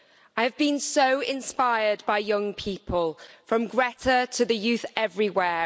I've been so inspired by young people from Greta Thunberg to the youth everywhere.